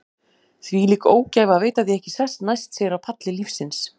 Þvílík ógæfa að veita því ekki sess næst sér á palli lífsins.